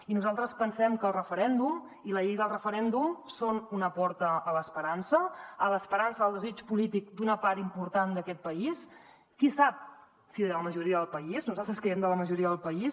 i nosaltres pensem que el referèndum i la llei del referèndum són una porta a l’esperança a l’esperança del desig polític d’una part important d’aquest país qui sap si de la majoria del país nosaltres creiem que de la majoria del país